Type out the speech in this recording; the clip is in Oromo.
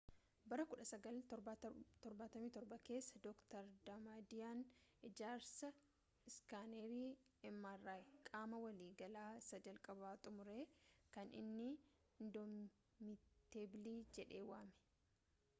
bara 1977 keessa, dr. damadiiyan ijaarsa iskanerii mri qaama walii galaa” isa jalqaba xumure kan inni indoomiteebilii” jedhe waame